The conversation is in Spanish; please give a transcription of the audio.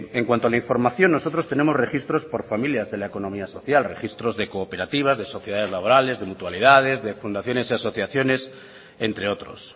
en cuanto a la información nosotros tenemos registros por familias de la economía social registros de cooperativas de sociedades laborales de mutualidades de fundaciones y asociaciones entre otros